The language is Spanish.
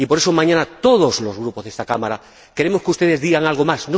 Y, por eso, mañana, todos los Grupos de esta Cámara queremos que ustedes digan algo más